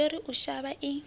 yo ri u shavha i